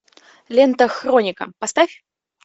лента хроника поставь